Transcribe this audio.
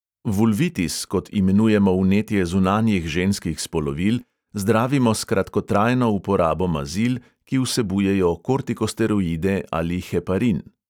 Vulvitis, kot imenujemo vnetje zunanjih ženskih spolovil, zdravimo s kratkotrajno uporabo mazil, ki vsebujejo kortikosteroide ali heparin.